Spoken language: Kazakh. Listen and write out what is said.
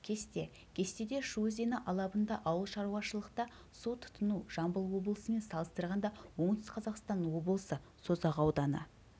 кесте кестеде шу өзені алабында ауылшаруашылықта су тұтыну жамбыл облысымен салыстырғанда оңтүстік қазақстан облысы созақ ауданы